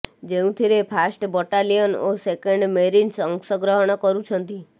ଯେଉଁଥିରେ first battalion ଓ second marines ଅଂଶଗ୍ରହଣ କରୁଛନ୍ତି